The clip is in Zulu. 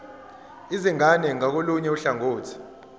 izingane ngakolunye uhlangothi